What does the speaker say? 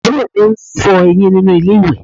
Àbúrò mi ń fọ eyín nínú ilé ìwẹ̀